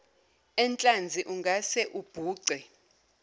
enhlanzi ungase ubhuce